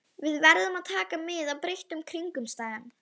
Við verðum að taka mið af breyttum kringumstæðum.